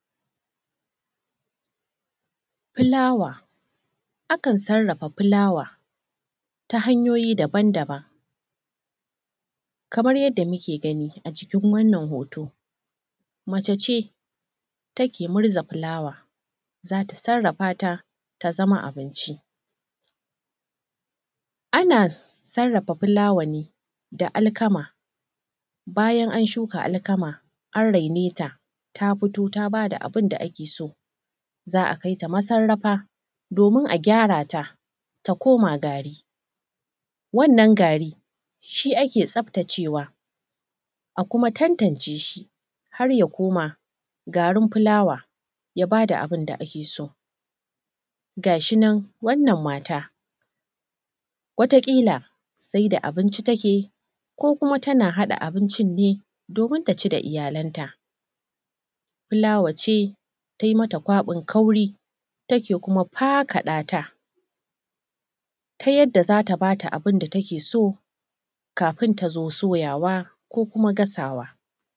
Fulaawa, akan sarrafa fulaawa ta hanyoyi daban-daban, kamar dai yadda muke gani acikin wannan hooto mace ce ta ke murza fulaawa za ta sarrafa ta ta zama abinci. Ana sarrafa fulaawa ne da alkama bayan an shuka alkama an raine ta ta fito ta ba da abin da ake so, za a kaita masarrafa doomin a gyarata ta koma gari, wannan gari shi ake tsaftacewa a kuma tantane shi har ya koma garin fulaawa ya baa da abin da ake so. Ga shi nan wannan maata wataƙiila saida abinci ta ke yi ko kuma tana haɗa abincin ne doomin ta ci da iyalanta, fulaawa ce ta yi mata kwaɓin kauri, take kuma fakaɗata ta yadda za ta baa ta abin da take so kafin ta zoo suyawa ko kuma gasawa.